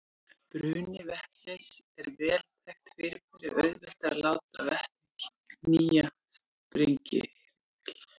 Bruni vetnis er vel þekkt fyrirbæri og auðvelt er að láta vetni knýja sprengihreyfil.